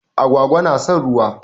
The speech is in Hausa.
Agwaga na son ruwa.